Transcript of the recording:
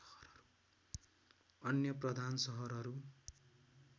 अन्य प्रधान सहरहरू